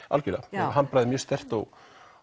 algjörlega handbragðið er mjög sterkt og